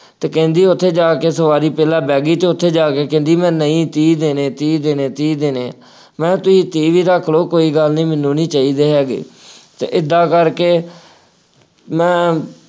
ਅਤੇ ਕਹਿੰਦੀ ਉੱਥੇ ਜਾ ਕੇ ਸਵਾਰੀ ਪਹਿਲਾਂ ਬਹਿ ਗਈ, ਉੱਥੇ ਜਾ ਕੇ ਕਹਿੰਦੀ ਮੈਂ ਨਹੀਂ ਤੀਹ ਦੇਣੇ, ਤੀਹ ਦੇਣੇ, ਤੀਹ ਦੇਣੇ। ਮੈਂ ਕਿਹਾ ਤੁਸੀਂ ਤੀਹ ਵੀ ਰੱਖ ਲਉ, ਕੋਈ ਗੱਲ ਨਹੀਂ ਮੈਨੂੰ ਨਹੀਂ ਚਾਹੀਦੇ ਹੈਗੇ, ਅਤੇ ਏਦਾਂ ਕਰਕੇ ਮੈਂ